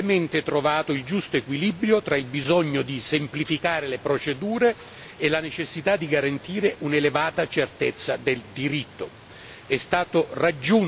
Ritengo si sia brillantemente trovato il giusto equilibrio tra il bisogno di semplificare le procedure e la necessità di garantire un'elevata certezza del diritto.